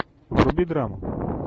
вруби драму